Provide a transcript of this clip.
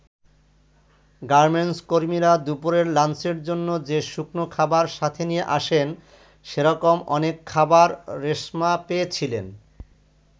Garments কর্মীরা দুপুরের লাঞ্চের জন্য যে শুকনো খাবার সাথে নিয়ে আসেন, সেরকম অনেক খাবার রেশমা পেয়েছিলেন।